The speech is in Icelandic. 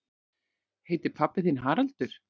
Heitir pabbi þinn Haraldur?